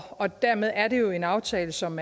og dermed er det jo en aftale som